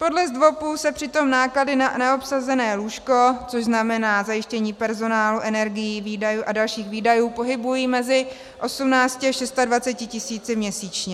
Podle ZDVOPů se přitom náklady na neobsazené lůžko, což znamená zajištění personálu, energií a dalších výdajů, pohybují mezi 18 až 26 tisíci měsíčně.